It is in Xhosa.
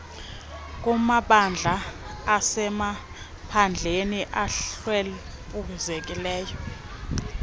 kumabandla asemaphandleni ahlwempuzekileyo